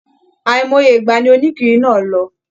Àìmọye ìgbà ní onikiri náà lọ.